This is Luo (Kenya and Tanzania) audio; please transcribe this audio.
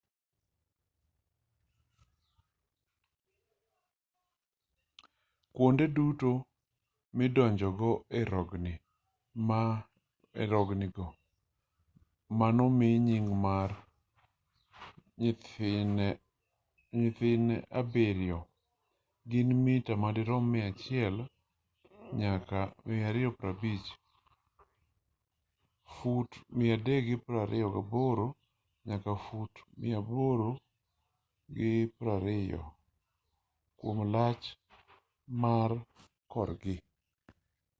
kwonde duto midonjogo ei rogni go manomi nying mar nyimine abiriyo” gin mita ma dirom 100 nyaka 250 fut 328 nyaka fut 820 kwom lach mar korgi